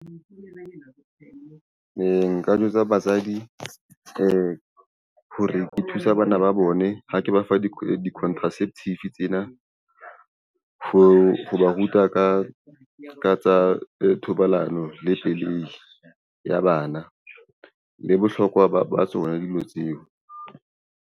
Nka jwetsa basadi, hore ke thusa bana ba bone ha ke ba fa di-contraceptive tsena ho ba ruta ka tsa thobalano le pelehi ya bana le bohlokwa ba tsona dilo tseo.